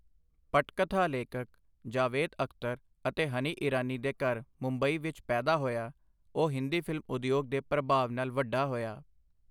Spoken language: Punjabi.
ਪਟਕਥਾ ਲੇਖਕ ਜਾਵੇਦ ਅਖ਼ਤਰ ਅਤੇ ਹਨੀ ਇਰਾਨੀ ਦੇ ਘਰ ਮੁੰਬਈ ਵਿੱਚ ਪੈਦਾ ਹੋਇਆ, ਉਹ ਹਿੰਦੀ ਫ਼ਿਲਮ ਉਦਯੋਗ ਦੇ ਪ੍ਰਭਾਵ ਨਾਲ ਵੱਡਾ ਹੋਇਆ।